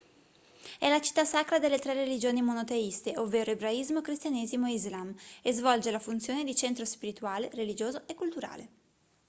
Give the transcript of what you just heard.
è la città sacra delle 3 religioni monoteiste ovvero ebraismo cristianesimo e islam e svolge la funzione di centro spirituale religioso e culturale